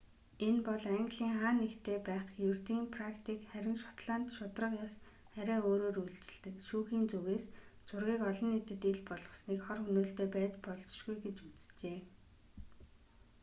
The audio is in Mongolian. энэ бол английн хаа нэгтээ байх ердийн практик харин шотланд шударга ёс арай өөрөөр үйлчилдэг шүүхийн зүгээс зургийг олон нийтэд ил болгосныг хор хөнөөлтэй байж болзошгүй гэж үзжээ